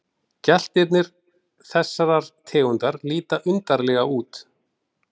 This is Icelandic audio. Geltirnir þessarar tegundar líta undarlega út.